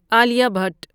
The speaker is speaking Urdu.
علیہ بھٹ